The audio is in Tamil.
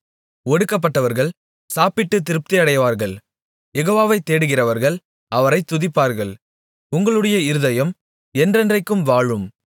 ஒடுக்கப்பட்டவர்கள் சாப்பிட்டு திருப்தியடைவார்கள் யெகோவாவை தேடுகிறவர்கள் அவரைத் துதிப்பார்கள் உங்களுடைய இருதயம் என்றென்றைக்கும் வாழும்